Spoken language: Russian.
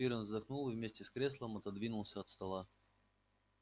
пиренн вздохнул и вместе с креслом отодвинулся от стола